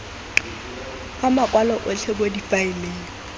ka makwalo otlhe mo difaeleng